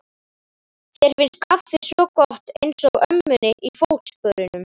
Þér finnst kaffi svo gott, einsog ömmunni í Fótsporunum.